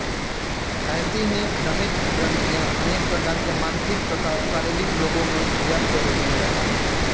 ऐसी ही दमित ग्रंथियाँ अनेक प्रकार के मानसिक तथा शारीरिक रोगों में व्याप्त होती हैं